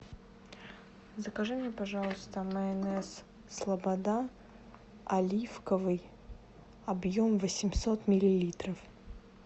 закажи мне пожалуйста майонез слобода оливковый объем восемьсот миллилитров